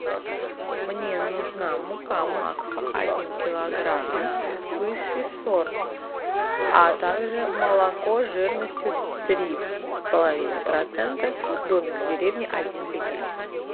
мне нужна мука макфа один килограмм высший сорт а также молоко жирностью три с половиной процента домик в деревне один литр